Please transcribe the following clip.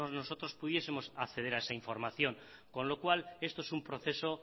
nosotros pudiesemos acceder a esa información con lo cual esto es un proceso